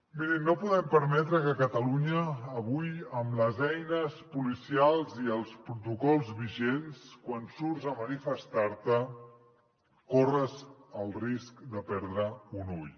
mirin no podem permetre que a catalunya avui amb les eines policials i els protocols vigents quan surts a manifestar te corris el risc de perdre un ull